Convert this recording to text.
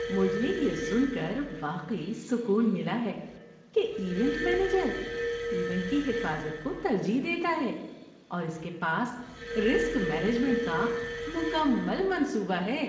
مجھے یہ سن کر واقعی سکون ملا ہے کہ ایونٹ مینیجر ایونٹ کی حفاظت کو ترجیح دیتا ہے اور اس کے پاس رسک مینجمنٹ کا مکمل منصوبہ ہے۔